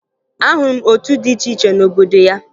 Ahụrụ m otu dị iche iche n'obodo ya